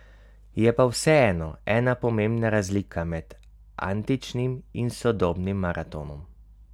Je pa vseeno ena pomembna razlika med antičnim in sodobnim maratonom.